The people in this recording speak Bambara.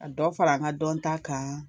Ka dɔ fara n ka dɔnta kan